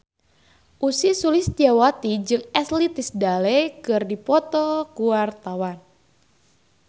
Ussy Sulistyawati jeung Ashley Tisdale keur dipoto ku wartawan